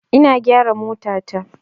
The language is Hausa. Ina gyara motata.